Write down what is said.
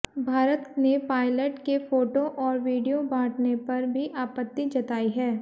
भारत ने पायलट के फोटो और वीडियो बांटने पर भी आपत्ति जताई है